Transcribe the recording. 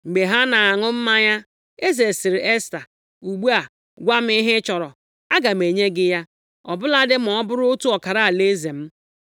Mgbe ha na-aṅụ mmanya, eze sịrị Esta, “Ugbu a, gwa m ihe ị chọrọ, aga m enye gị ya, ọ bụladị ma ọ bụrụ otu ọkara alaeze m.”